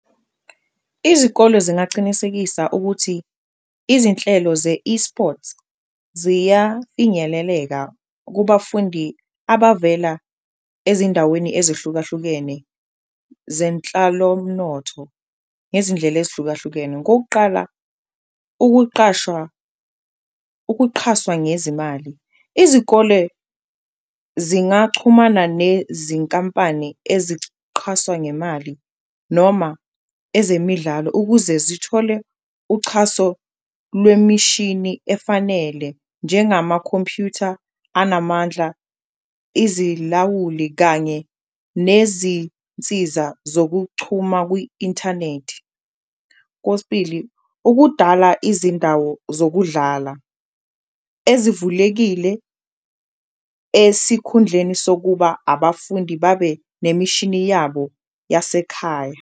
Izikolo zingacinisekisa ukuthi izinhlelo ze-eSports ziyafinyeleleka kubafundi abavela ezindaweni ezihlukahlukene zenhlalomnotho ngezindlela ezihlukahlukene. Kokuqala, ukuqhashwa, ukuqhaswa ngezimali izikole zingachumana nezinkampani eziqhaswa ngemali noma ezemidlalo, ukuze zithole uchaso lwemishini efanele njengamakhompyutha anamandla, izilawuli kanye nezinsiza zokuchuma kwi-inthanethi. Kosbili, ukudala izindawo zokudlala ezivulekile esikhundleni sokuba abafundi babe nemishini yabo yasekhaya.